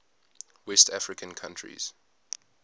west african countries